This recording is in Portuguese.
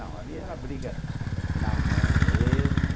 não, ali era briga na mão mesmo.